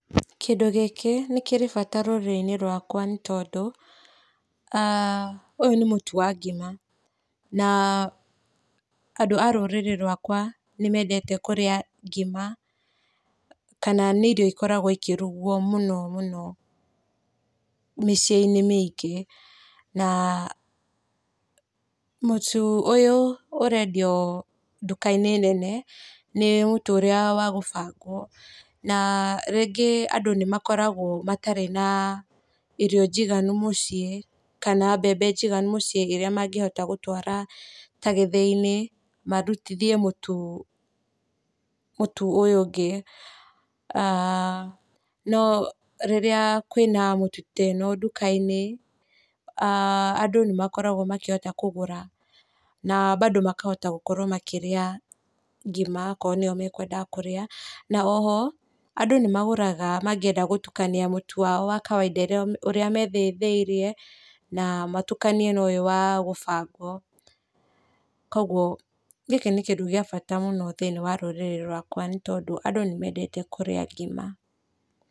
Kĩndũ gĩkĩ nĩ kĩrĩ bata rũrĩrĩ-inĩ rwakwa nĩ tondũ , ũyũ nĩ mũtu wa ngima na andũ a rũrĩrĩ rwakwa nĩ mendete kũrĩa ngima kana nĩ irio ikoragwo ikĩrugwo mũno mũno mĩciĩ-inĩ mĩingĩ. Na mũtu ũyũ ũrendio duka-inĩ nene nĩ mũtu ũrĩa wa gũbangwo na rĩngĩ andũ nĩ makoragwo matarĩ na irio njiganu mũciĩ kana mbembe njiganu mũciĩ ta rĩrĩa mangĩhota gũtwara gĩthĩinĩ marutithie mũtu ũyũ ũngĩ aah, no rĩrĩa kwĩna mĩtu ta ĩno duka-inĩ andũ nĩ makoragwo makĩhota kũgũra na bado makahota gũkorwo makĩrĩa ngima okorwo nĩyo makwendaga kũrĩa na oroho andũ nĩ magũraga mangĩenda gũtukania mũtu wao wa kawaida ũrĩa methĩithĩrie na matukanie na ũyũ wa gũbangwo kwoguo gĩkĩ kĩndũ kĩega mũno thĩini wa rũrĩrĩ rwakwa, andũ nĩ mendete kũrĩa ngima.